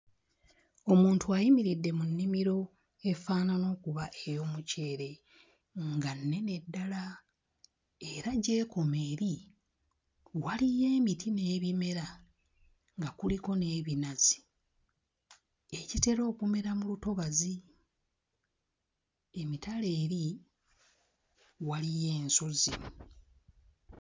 Omuntu ayimiridde mu nnimiro efaanana okuba ey'omuceere nga nnene ddala era gy'ekoma eri waliyo emiti n'ebimera nga kuliko n'ebinazi, egitera okumera mu lutobazi. Emitala eri waliyo ensozi.